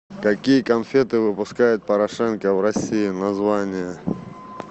какие конфеты выпускает порошенко в россии название